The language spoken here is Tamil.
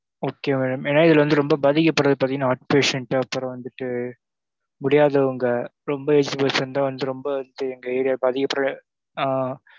Okay madam ஏன்னா இதுல வந்து ரெம்ப பாதிக்கப் படுறது பாத்திங்கன்னா heart patient அப்புறம் வந்துட்டு முடியதுவுங்க ரெம்ப aged person தான் வந்து ரெம்ப வந்து எங்க area அதுக்கப்ற ஆ,